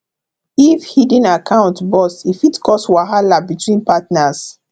if hidden account burst e fit cause wahala between partners